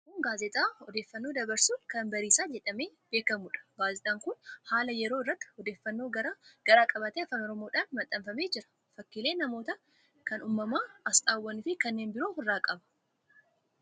Kun gaazexaa odeeffannoo dabarsu kan Bariisaa jedhamee beekamuudha. Gaazexaan kun haala yeroo irratti odeeffannoo garaa garaa qabatee afaan Oromoodhaan maxxanfamee jira. Fakkiilee namootaa, kan umamaa, aasxaawwan fi kanneen biroo ofirraa qaba.